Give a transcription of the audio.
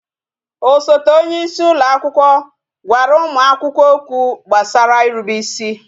Osote onyeisi ụlọ akwụkwọ gwara ụmụ akwụkwọ okwu gbasara irube ịsị